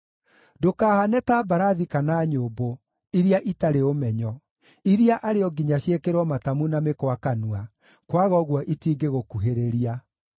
Ndũkahaane ta mbarathi kana nyũmbũ, iria itarĩ ũmenyo, iria arĩ o nginya ciĩkĩrwo matamu na mĩkwa kanua, kwaga ũguo itingĩgũkuhĩrĩria.